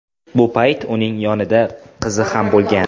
Bu payt uning yonida qizi ham bo‘lgan.